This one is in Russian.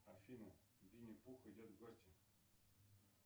афина винни пух идет в гости